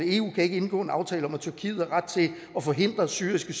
eu kan ikke indgå en aftale om at tyrkiet har ret til at forhindre syriske